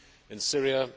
in Syria,